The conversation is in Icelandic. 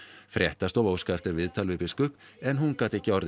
fréttastofa óskaði eftir viðtali við biskup en hún gat ekki orðið